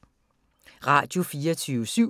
Radio24syv